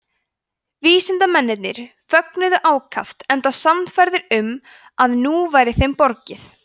vísindamennirnir fögnuðu ákaft enda sannfærðir um að nú væri þeim borgið